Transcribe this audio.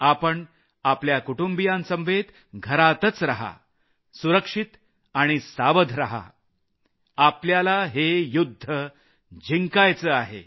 आपण आपल्या कुटुबियांसमवेत घरातच रहा सुरक्षित आणि सावध रहा आपल्याला हे युद्ध जिंकायचं आहे